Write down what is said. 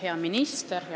Hea minister!